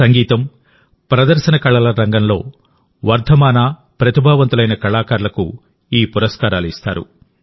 సంగీతం ప్రదర్శన కళల రంగంలో వర్ధమాన ప్రతిభావంతులైన కళాకారులకు ఈ పురస్కారాలు ఇస్తారు